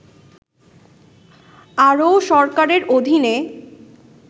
আরও সরকারের অধীনে